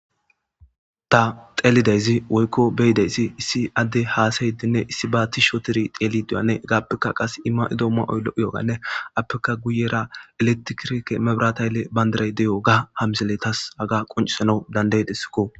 ta xeelidayzi woykko beyidayssi issi adde haasayidinne issi ba tishotiri teelidiyanne gaappekka qas ima7idoomma oyllo7yoganne appeka guyera eletikirke mebrataylle bayndaray de7o ga hamseletas aga qoncisana danday dessikko